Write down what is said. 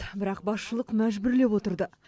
бірақ басшылық мәжбүрлеп отырды